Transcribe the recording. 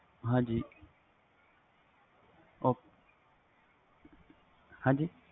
ਹਾਜੀ ok ਹਾਜੀ